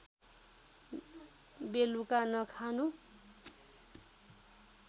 बेलुका नखानु